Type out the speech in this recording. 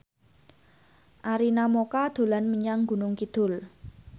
Arina Mocca dolan menyang Gunung Kidul